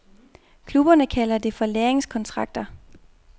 Klubberne kalder det ofte for lærlingekontrakter.